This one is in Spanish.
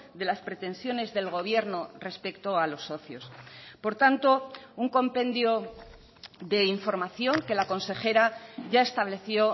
de las pretensiones del gobierno respecto a los socios por tanto un compendio de información que la consejera ya estableció